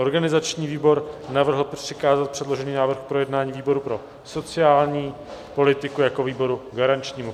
Organizační výbor navrhl přikázat předložený návrh k projednání výboru pro sociální politiku jako výboru garančnímu.